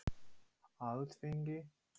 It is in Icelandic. Fréttamaður: Alþingi?